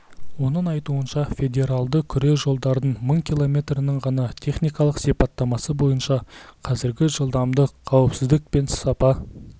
оның айтуынша федералды күре жолдардың мың киллометрінің ғана техникалық сипаттамасы бойынша қазіргі жылдамдық қауіпсіздік пен сапа